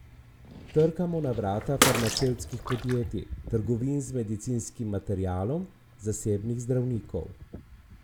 Trkamo na vrata farmacevtskih podjetij, trgovin z medicinskim materialom, zasebnih zdravnikov ...